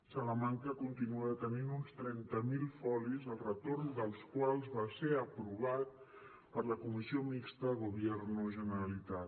salamanca continua tenint uns trenta mil folis el retorn dels quals va ser aprovat per la comissió mixta gobierno generalitat